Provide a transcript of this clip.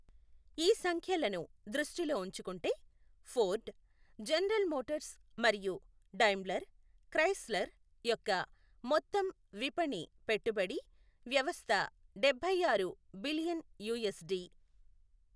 ఈ సంఖ్యలను దృష్టిలో ఉంచుకుంటే, ఫోర్డ్, జనరల్ మోటార్స్ మరియు డైమ్లర్ క్రైస్లర్ యొక్క మొత్తం విపణి పెట్టుబడి వ్యవస్థ డబ్బై ఆరు బిలియన్ యూఎస్డి .